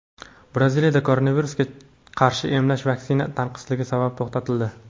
Braziliyada koronavirusga qarshi emlash vaksina tanqisligi sabab to‘xtatildi.